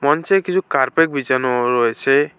মঞ্চে কিছু কার্পেট বিছানো রয়েছে।